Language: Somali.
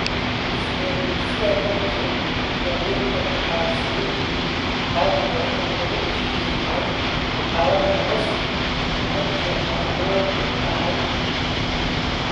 Sidaa darteed, daawaynta waxaa sida caadiga ah lagu jiheeyaa xaaladda hoose marka ay habboon tahay.